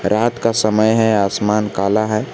रात का समय है आसमान काला है।